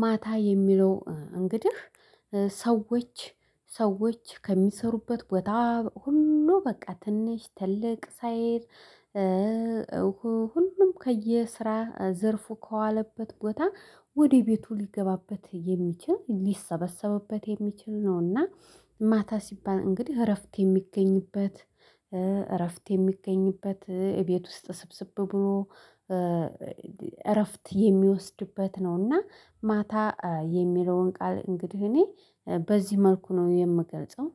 ማታ የሚለው እንግዲህ ሰዎች ሰዎች ከሚሰሩበት ቦታ ሁሉ በቃ ትንሽ ትልቅ ሳይል። ሁሉም ከየስራ ዘርፉ ከዋለበት ቦታ ወደ ቤቱ ሊገባበት የሚችል ሊሰበሰብበት የሚችል ነውና። ማታ ሲባል እንግዲህ እረፍት የሚገኝበት እረፍት የሚገኝበት እቤት ውስጥ ስብስብ ብሎ እረፍት የሚወስድበት ነውና። ማታ የሚለውን ቃል እንግዲህ እኔ በዚህ መልኩ ነው የምገልጸው